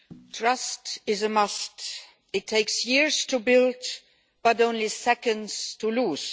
Mr President, trust is a must. It takes years to build, but only seconds to lose.